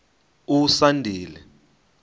usandile